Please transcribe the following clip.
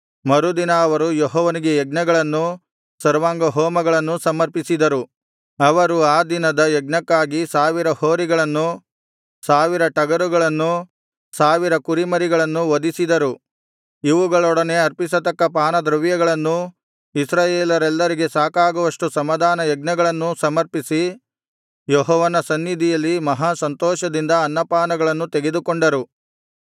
ಮರುದಿನ ಅವರು ಯೆಹೋವನಿಗೆ ಯಜ್ಞಗಳನ್ನೂ ಸರ್ವಾಂಗಹೋಮಗಳನ್ನೂ ಸಮರ್ಪಿಸಿದರು ಅವರು ಆ ದಿನದ ಯಜ್ಞಕ್ಕಾಗಿ ಸಾವಿರ ಹೋರಿಗಳನ್ನೂ ಸಾವಿರ ಟಗರುಗಳನ್ನೂ ಸಾವಿರ ಕುರಿಮರಿಗಳನ್ನೂ ವಧಿಸಿದರು ಇವುಗಳೊಡನೆ ಅರ್ಪಿಸತಕ್ಕ ಪಾನದ್ರವ್ಯಗಳನ್ನೂ ಇಸ್ರಾಯೇಲರೆಲ್ಲರಿಗೆ ಸಾಕಾಗುವಷ್ಟು ಸಮಾಧಾನಯಜ್ಞಗಳನ್ನೂ ಸಮರ್ಪಿಸಿ ಯೆಹೋವನ ಸನ್ನಿಧಿಯಲ್ಲಿ ಮಹಾ ಸಂತೋಷದಿಂದ ಅನ್ನಪಾನಗಳನ್ನು ತೆಗೆದುಕೊಂಡರು